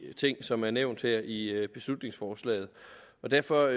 ting som er nævnt her i beslutningsforslaget derfor